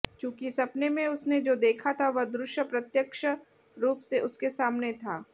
चूंकि सपने में उसने जो देखा था वह दृश्य प्रत्यक्ष रूप से उसके सामने था